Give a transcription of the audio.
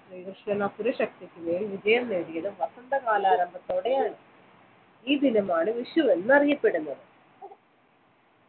ശ്രീകൃഷ്ണൻ അസുരശക്തിക്കു മേൽ വിജയം നേടിയത് വസന്തകാല ആരംഭത്തോടെയാണ് ഈ ദിനമാണ് വിഷു എന്നറിയപ്പെടുന്നത്